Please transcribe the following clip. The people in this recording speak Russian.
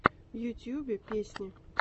в ютубе песни